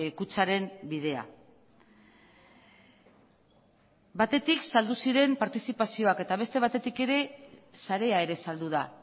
kutxaren bidea batetik saldu ziren partizipazioak eta beste batetik ere sarea ere saldu da